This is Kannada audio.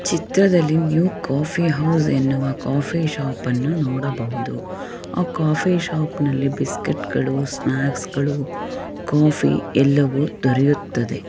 ಚಿತ್ರದಲ್ಲಿ ನವ ಕಾಫಿ ಕಾಫ್ಫ್ ಶಾಪ್ ಅನ್ನು ನೋಡಬಹುದು ಆ ಕಾಫ್ಫ್ ಶಾಪ್ ಅಲ್ಲಿ ಬುಐಸ್ಕ್ಯೂಯ್ತ್ಗಳು ಸ್ನಾಕ್ಸ್ಗಳು ಕಾಫಿ ಎಲ್ಲವು ದೊರೆಯುತ್ತದೆ.